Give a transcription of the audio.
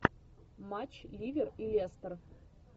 матч ливер и лестер